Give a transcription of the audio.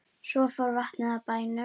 Svo fór vatnið af bænum.